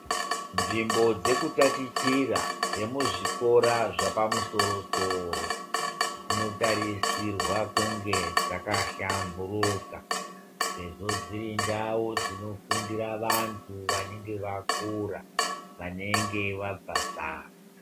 Nzvimbo dzekutatichira dzemuzvikora chepamusorosoro dzinotarwa kunge dzakahlamburika sezvo dziri ndau dzinofundara vandu vanenge vakura vanenge vabvezera